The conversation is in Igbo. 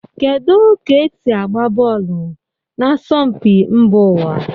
Kedu ka esi agba bọọlụ na asọmpi mba ụwa?